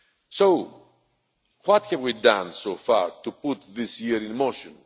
So, what have we done so far to put this year in motion?